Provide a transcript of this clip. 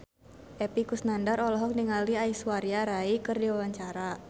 Epy Kusnandar olohok ningali Aishwarya Rai keur diwawancara